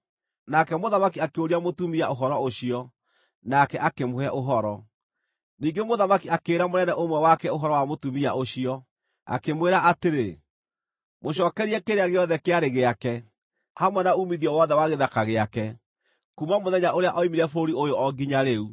Nake mũthamaki akĩũria mũtumia ũhoro ũcio, nake akĩmũhe ũhoro. Ningĩ mũthamaki akĩĩra mũnene ũmwe wake ũhoro wa mũtumia ũcio, akĩmwĩra atĩrĩ, “Mũcookerie kĩrĩa gĩothe kĩarĩ gĩake, hamwe na uumithio wothe wa gĩthaka gĩake, kuuma mũthenya ũrĩa oimire bũrũri ũyũ o nginya rĩu.”